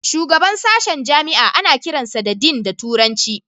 Shugaban sashen jami'a ana kiransa da Dean da turanci